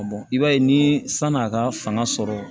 i b'a ye ni san'a ka fanga sɔrɔ